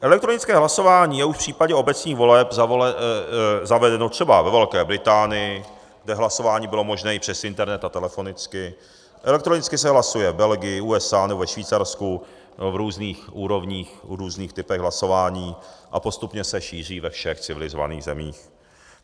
Elektronické hlasování je už v případě obecních voleb zavedeno třeba ve Velké Británii, kde hlasování bylo možné i přes internet a telefonicky, elektronicky se hlasuje v Belgii, USA nebo ve Švýcarsku, v různých úrovních, v různých typech hlasování, a postupně se šíří ve všech civilizovaných zemích.